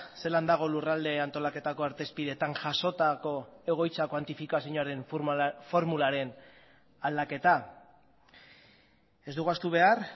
zelan dago lurralde antolaketako artezpideetan jasotako egoitza kuantifikazioaren formularen aldaketa ez dugu ahaztu behar